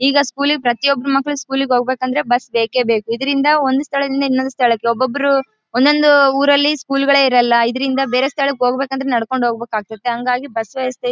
ಈಗ ಸ್ಕೂಲ್ ಗೆ ಪ್ರತಿಯೋಬ್ಬರ ಮಕ್ಕಳು ಸ್ಕೂಲ್ ಗೆ ಹೋಗ್ಬೇಕು ಅಂದ್ರೆ ಬಸ್ ಬೇಕೇ ಬೇಕು. ಇದರಿಂದ ಒಂದು ಸ್ಥಳದಿಂದ ಇನ್ನುಯೊಂದು ಸ್ಥಳಕ್ಕೆ ಒಬೊಬ್ಬರು ಒಂದೊಂದು ಊರ್ ಗಳಲ್ಲಿ ಸ್ಕೂಲ್ ಗಾಳೆ ಇರೋಲ್ಲ ಇದರಿಂದ ಬೇರೆ ಸ್ಥಳಕ್ಕೆ ಹೋಗ್ಬೇಕು ಅಂದ್ರೆ ನಡ್ಕೊಂಡು ಹೋಗ್ಬೇಕು ಆಗ್ತತ್ತೆ ಹಾಂಗಾಗಿ ಬಸ್ಸೇ ಸೆ--